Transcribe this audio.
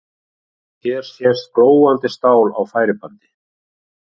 Hér sést glóandi stál á færibandi.